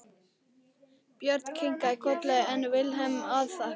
Björn kinkaði kolli en Vilhelm afþakkaði.